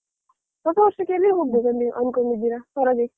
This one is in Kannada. ಹೊಸ ವರ್ಷಕ್ಕೆ ನೀವ್ ಎಲ್ಲಿ ಹೋಗ್ಬೇಕಂತ ಅಂದ್ಕೊಂಡಿರಾ ಹೊರಗೆ?